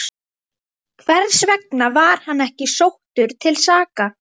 Hversvegna var hann ekki sóttur til saka?